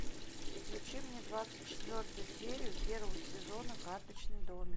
включи мне двадцать четвертую серию первого сезона карточный домик